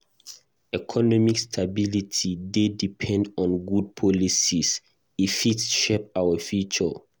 Economic stability dey depend on good policies; e fit shape our future.